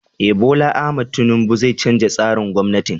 Eh, Bola Ahmad tinubu zai canza tsarin gwamnatin.